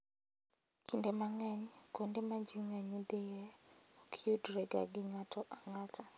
Kinde mang'eny, kuonde ma ji ng'eny dhiye ok yudrega gi ng'ato ang'ata.